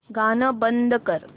गाणं बंद कर